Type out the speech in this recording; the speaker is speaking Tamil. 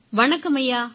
வணக்கம் ஐயா